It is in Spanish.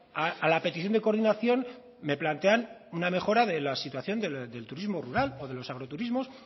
a la petición de coordinación me plantean una mejora de la situación del turismo rural o de los agroturismos